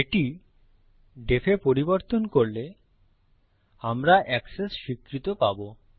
এটি def এ পরিবর্তন করলে আমরা এক্সেস স্বীকৃত পাবো